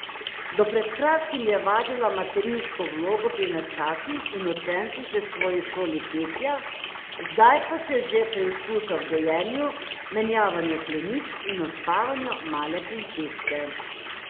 Do pred kratkim je vadila materinsko vlogo pri nečakih in učencih v svoji šoli petja, zdaj pa se že preizkuša v dojenju, menjavanju pleničk in uspavanju male princeske.